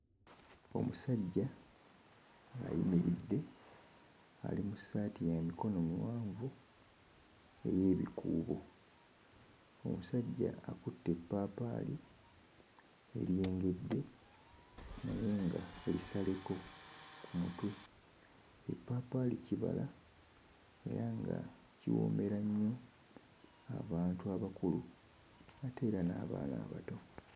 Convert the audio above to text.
Omusajja ayimiridde ali mu ssaati ya mikono miwanvu ey'ebikuubo, omusajja akutte eppaapaali eryengedde naye nga lisaleko ku mutwe, eppaapaali kibala era nga kiwoomera nnyo abantu abakulu ate era n'abaana abato.